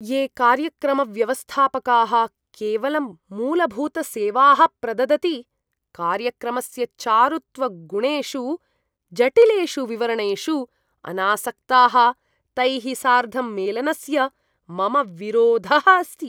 ये कार्यक्रमव्यवस्थापकाः केवलं मूलभूतसेवाः प्रददति, कार्यक्रमस्य चारुत्वगुणेषु जटिलेषु विवरणेषु अनासक्ताः, तैः सार्धं मेलनस्य मम विरोधः अस्ति।